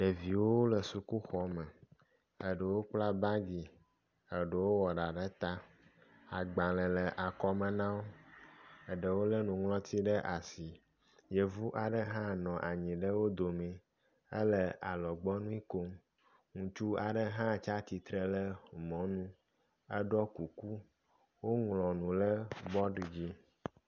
ɖeviwo le sukuxɔme eɖewo kpla bagi eɖewo wɔ ɖa ɖe ta agbalēwo le akɔme nawo eɖewo le nuŋlɔti ɖe asi yevu aɖe hã nɔ wó domi éle alɔgbɔŋui kom ŋustu aɖe hã tsatsitle ɖe mɔnu wó ŋlɔnu ɖe bɔd dzi